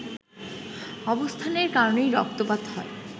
অবস্থানের কারণেই রক্তপাত হয়